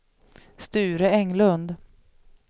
Sture Englund